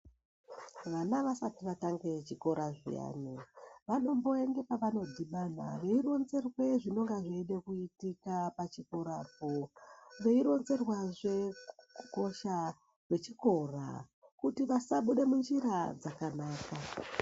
Vana vasati vatange chikora zviyane vanomboenda pavanodhibana veironzerwe zvinonga zviide kuitika pachikorapo, veironzerwazve kukosha kwechikora kuti vasabuda munjira dzakanaka.